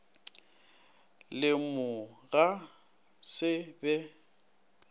le mo ga se be